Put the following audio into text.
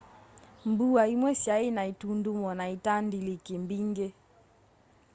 mbua imwe syai na itundumo na itandaliki mbingi